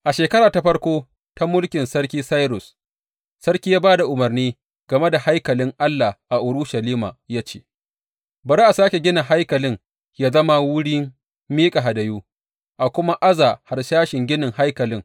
A shekara ta farko ta mulkin sarki Sairus, sarki ya ba da umarni game da haikalin Allah a Urushalima, ya ce, Bari a sāke gina haikalin yă zama wurin miƙa hadayu, a kuma aza harsashin ginin haikalin.